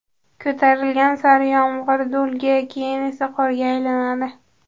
ko‘tarilgan sari yomg‘ir do‘lga, keyin esa qorga aylanadi.